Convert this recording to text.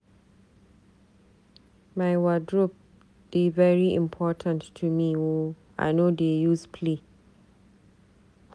My wardrope dey very important to me o, I no dey use play.